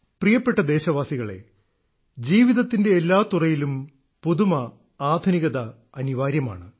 പ്രിയപ്പെട്ട ദേശവാസികളേ ജീവിതത്തിന്റെ എല്ലാ തുറയിലും പുതുമ ആധുനികത അനിവാര്യമാണ്